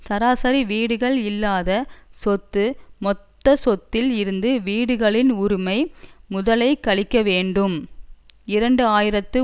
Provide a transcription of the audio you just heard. சராசரி வீடுகள் இல்லாத சொத்து மொத்த சொத்தில் இருந்து வீடுகளின் உரிமை முதலை கழிக்க வேண்டும் இரண்டு ஆயிரத்து